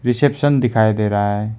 Reception दिखाई दे रहा है।